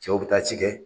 Cɛw bɛ taa ci kɛ